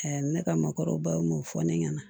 ne ka mɔbaw m'o fɔ ne ɲɛna